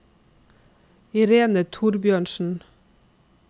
Irene Thorbjørnsen